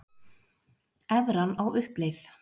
Evran á uppleið